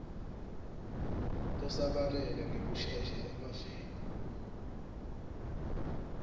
lisabalale ngekushesha emaveni